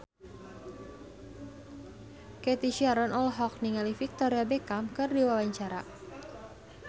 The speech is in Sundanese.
Cathy Sharon olohok ningali Victoria Beckham keur diwawancara